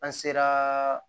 An sera